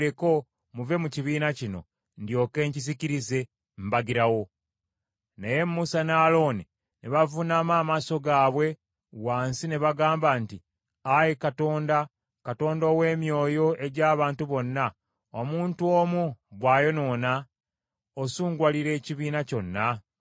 Naye Musa ne Alooni ne bavuunama amaaso gaabwe wansi ne bagamba nti, “Ayi Katonda, Katonda ow’emyoyo egy’abantu bonna, omuntu omu bw’ayonoona, osunguwalira ekibiina kyonna?”